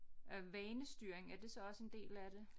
Øh vanestyring er det så også en del af det